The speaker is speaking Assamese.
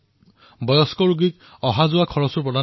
মানুহে কৈছিল যে তেওঁ ৰোগীৰ চিকিৎসাৰ বাবে সদায়েই তৎপৰ হৈ আছিল